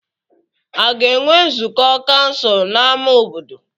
A ga-enwe nzukọ kansụl n'ámá obodo?